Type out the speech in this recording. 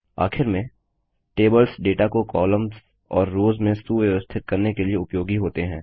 आखिर में tables data को कॉलम्स और रोव्स में सुव्यवस्थित करने के लिए उपयोगी होते हैं